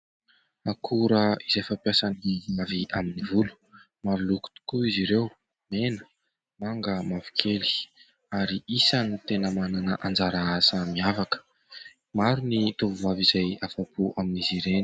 Akora izay fampiasan'ny vehivavy amin'ny volo, maro loko tokoa izy ireo : mena ,manga, mavokely ary isan'ny tena manana anjara asa miavaka, maro ny tovovavy izay afa-po amin'izy ireny.